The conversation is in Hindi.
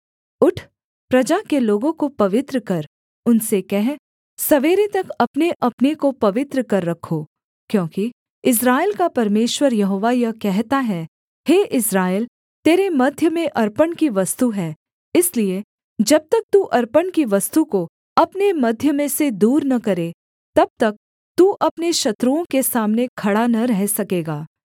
उठ प्रजा के लोगों को पवित्र कर उनसे कह सवेरे तक अपनेअपने को पवित्र कर रखो क्योंकि इस्राएल का परमेश्वर यहोवा यह कहता है हे इस्राएल तेरे मध्य में अर्पण की वस्तु है इसलिए जब तक तू अर्पण की वस्तु को अपने मध्य में से दूर न करे तब तक तू अपने शत्रुओं के सामने खड़ा न रह सकेगा